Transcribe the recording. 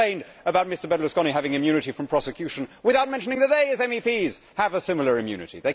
They complained about Mr Berlusconi having immunity from prosecution without mentioning that they, as MEPs, have a similar immunity.